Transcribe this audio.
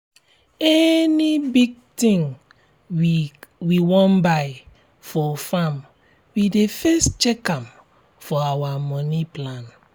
any big thing we wan buy for farm we dey first check am for our moni plan.